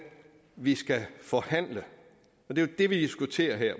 vi skal forhandle og det er jo det vi diskuterer her